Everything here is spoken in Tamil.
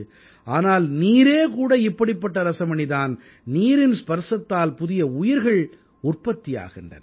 ஆனால் நீரே கூட இப்படிப்பட்ட ரஸமணி தான் நீரின் ஸ்பரிசத்தால் புதிய உயிர்கள் உற்பத்தி ஆகின்றன